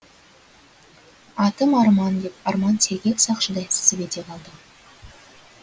атым арман деп арман сергек сақшыдай сып ете қалды